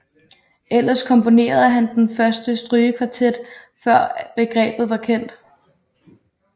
Ellers komponerede han den første strygekvartet før begrebet var kendt